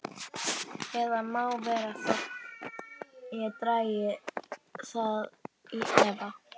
Það má vera þó ég dragi það í efa.